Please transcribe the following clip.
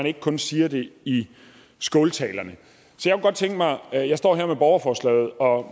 ikke kun siger det i skåltalerne jeg står her med borgerforslaget og